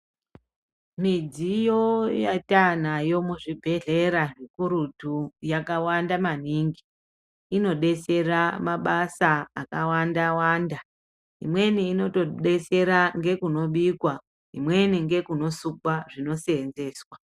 Midziyo yataanayo muzvibhedhlera zvikurutu yakawanda maningi .Inodetsera mabasa akawandawanda. Imweni inotodetsera ngekunobikwa imweni ngekunosukwa zvinoseenzeswa .